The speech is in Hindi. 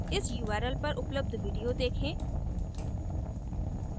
इस url पर उपलब्ध video देखें